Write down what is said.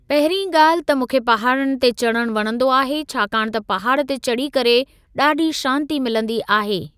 पहिरीं ॻाल्हि त मूंखे पहाड़नि ते चढ़णु वणंदो आहे छाकाणि त पहाड़ ते चढ़ी करे ॾाढी शांती मिलंदी आहे।